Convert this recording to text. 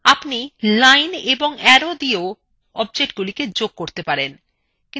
আপনি lines এবং arrow দিয়েও objectsগুলিকে যোগ করতে পারেন